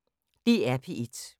DR P1